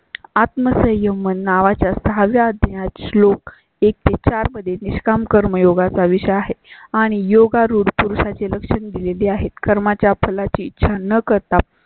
आत्मसंयम नावा च्या सहाव्याच श्लोक एक ते चारमध्ये निष्काम कर्मयोगाचा विषय आहे आणि योगारूढ पुरुषा ची लक्षणे दिलेली आहेत. कर्मा च्या फळा ची इच्छा न करता